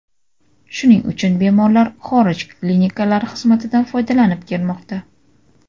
Shuning uchun bemorlar xorij klinikalari xizmatidan foydalanib kelmoqda.